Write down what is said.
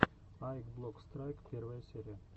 аик блок страйк первая серия